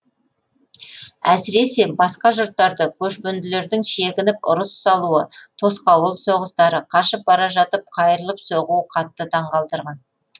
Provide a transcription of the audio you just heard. әсіресе басқа жұрттарды көшпенділердің шегініп ұрыс салуы тосқауыл соғыстары қашып бара жатып қайырылып соғуы қатты таңқалдырған